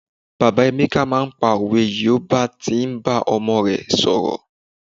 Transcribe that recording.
bàbá emeka ma n pa owe yi o ba ti n bá ọmọ rẹ sọrọ